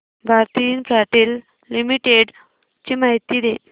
Bharti Infratel limited ची माहिती दे